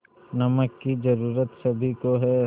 नमक की ज़रूरत सभी को है